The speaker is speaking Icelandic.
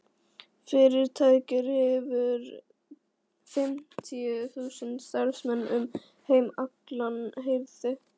Fyrirtækið hefur fimmtíu þúsund starfsmenn um heim allan heyrði